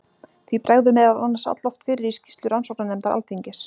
því bregður meðal annars alloft fyrir í skýrslu rannsóknarnefndar alþingis